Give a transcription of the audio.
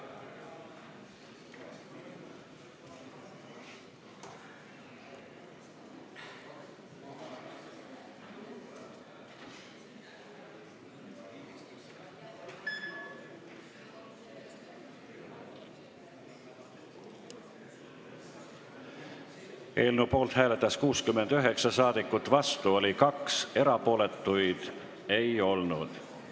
Hääletustulemused Eelnõu poolt hääletas 69 saadikut, vastu oli 2, erapooletuid ei olnud.